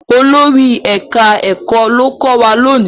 Olórí ẹka ẹkọ ló kọ wá lóni.